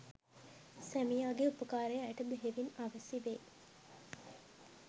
සැමියාගේ උපකාරය ඇයට බෙහෙවින් අවැසි වේ.